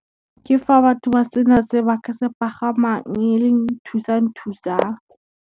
Ke fa batho ba sena se ba ka se pagamang, e le thusang thusang.